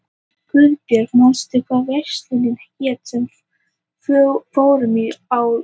Guðbjörg, manstu hvað verslunin hét sem við fórum í á laugardaginn?